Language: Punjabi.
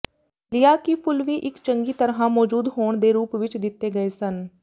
ਿਆ ਕਿ ਫੁੱਲ ਵੀ ਇਕ ਚੰਗੀ ਤਰ੍ਹਾਂ ਮੌਜੂਦ ਹੋਣ ਦੇ ਰੂਪ ਵਿਚ ਦਿੱਤੇ ਗਏ ਸਨ